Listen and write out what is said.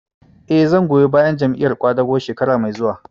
Eh, zan goyi bayan Jam'iyar ƙwadago shekara mai zuwa